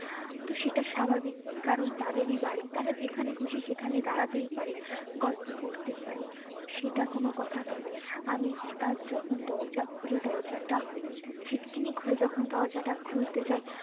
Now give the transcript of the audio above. তো সেটা স্বাভাবিক কারণ তাদেরই বাড়ি তারা যেখানে খুশি সেখানে দাঁড়াতে পারে গল্প করতে পারে সেটা কোনো কথা যে আমি হঠাৎ যখন দরজা খুলি দরজাটা ছিটকিনি খুলে যখন দরজা তা খুলতে যাই